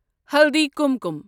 ہلدی کُمکُم